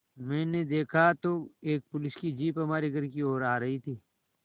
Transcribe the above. मैंने देखा तो एक पुलिस की जीप हमारे घर की ओर आ रही थी